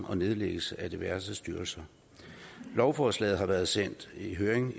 og nedlæggelsen af diverse styrelser lovforslaget har været sendt i høring